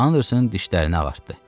Anderson dişlərini ağartdı.